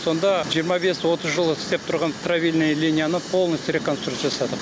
сонда жиырма бес отыз жыл істеп тұрған правильная линияны полностью реконструкция жасадық